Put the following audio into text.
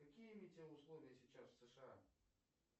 какие метеоусловия сейчас в сша